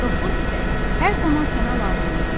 Dostluq isə hər zaman sənə lazım olar.